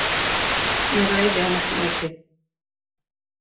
Ég ræði hann ekki mikið.